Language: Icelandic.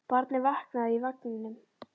Barnið vaknaði í vagninum.